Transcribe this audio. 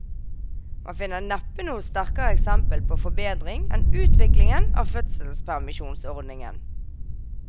Man finner neppe noe sterkere eksempel på forbedring enn utviklingen av fødselspermisjonsordningen.